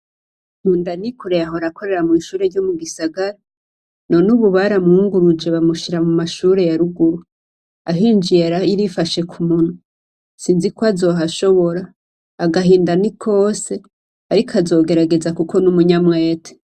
Nkundanikoreye yahora akorera mw''ishure ryo mu gisagara none ubu baramwunguruje bamushira mu mashure ya ruguru. Ahinjiye yarifashe k'umunwa. Sinzi ko azohashobora, agahinda ni kose ariko azogerageza ni umunyamwete.